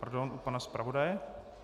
Pardon, u pana zpravodaje.